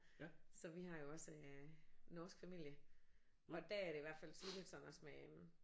Så vi har jo også øh norsk familie og der er det i hvert fald tydeligt sådan også med